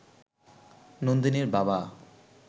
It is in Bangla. নন্দিনীর বাবা